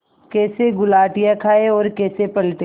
कैसे गुलाटियाँ खाएँ और कैसे पलटें